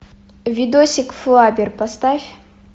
видосик флаббер поставь